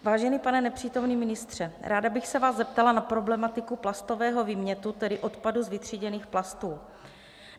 Vážený pane nepřítomný ministře, ráda bych se vás zeptala na problematiku plastového výmětu, tedy odpadu z vytříděných plastů.